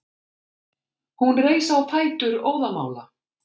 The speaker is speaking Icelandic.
Hún reis á fætur óðamála.